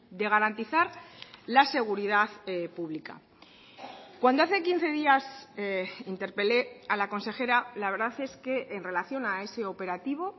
de garantizar la seguridad pública cuando hace quince días interpelé a la consejera la verdad es que en relación a ese operativo